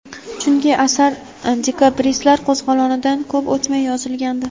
chunki asar dekabristlar qo‘zg‘olonidan ko‘p o‘tmay yozilgandi.